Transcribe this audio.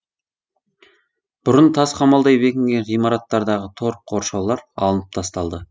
бұрын тас қамалдай бекінген ғимараттардағы тор қоршаулар алынып тасталды